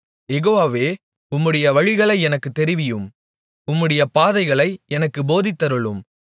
யெகோவாவே உம்முடைய வழிகளை எனக்குத் தெரிவியும் உம்முடைய பாதைகளை எனக்குப் போதித்தருளும்